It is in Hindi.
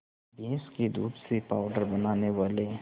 भैंस के दूध से पावडर बनाने वाले